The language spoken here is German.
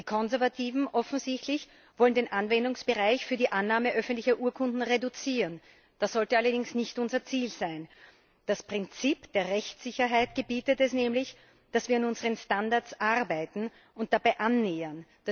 Die Konservativen wollen offensichtlich den Anwendungsbereich für die Annahme öffentlicher Urkunden reduzieren. Das sollte allerdings nicht unser Ziel sein. Das Prinzip der Rechtssicherheit gebietet es nämlich, dass wir an unseren Standards arbeiten und uns dabei einander annähern.